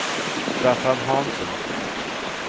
Staffan Hansen